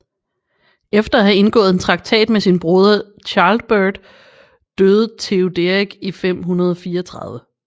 Efter at have indgået en traktat med sin broder Childebert døde Teoderik i 534